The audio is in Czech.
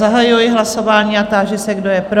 Zahajuji hlasování a táži se, kdo je pro?